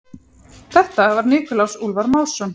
Þetta var Nikulás Úlfar Másson.